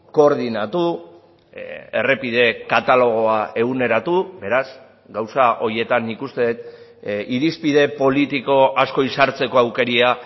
koordinatu errepideek katalogoa eguneratu beraz gauza horietan nik uste dut irizpide politiko asko izartzeko aukera